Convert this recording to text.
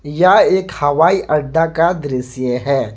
यह एक हवाई अड्डा का दृश्य है।